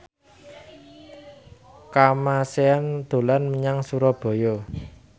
Kamasean dolan menyang Surabaya